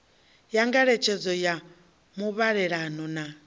ya nyengedzedzo ya muvhalelano na